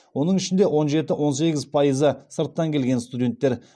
оның ішінде он жеті он сегіз пайызы сырттан келген студенттер